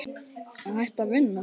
Að hætta að vinna?